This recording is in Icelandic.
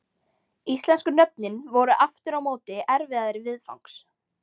Íslensku nöfnin voru aftur á móti erfiðari viðfangs.